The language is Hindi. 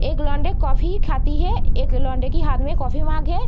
एक लोंडे कॉफ़ी ही खाती है एक लोंडे की हाथ में कॉफी मग है।